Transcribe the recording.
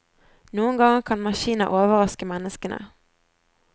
Noen ganger kan maskiner overraske menneskene.